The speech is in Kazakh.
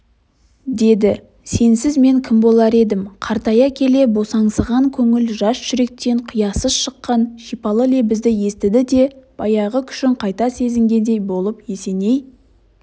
деді сенсіз мен кім болар едім қартая келе босаңсыған көңіл жас жүректен қиясыз шыққан шипалы лебізді естіді де баяғы күшін қайта сезінгендей болып есеней